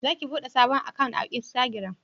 Za ki bude sabon akant a insitagiram?